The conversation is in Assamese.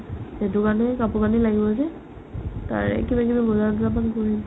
সেইটো কাৰণে কাপোৰ-কানি লাগিব যে তাৰে কিবাকিবি বজাৰ কিবাকিবি কৰিম